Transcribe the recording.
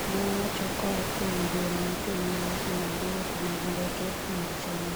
Ne owach koa kuom duol mochung'ne weche mag wuoth mag ndeke mag China